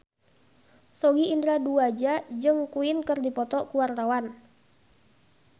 Sogi Indra Duaja jeung Queen keur dipoto ku wartawan